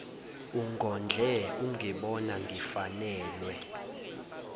ungondle ungibona ngifanelwe